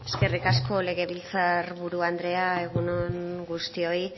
eskerrik asko legebiltzar buru andrea egun on guztioi